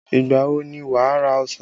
Ìgbà wo ni wà ra ọsàn?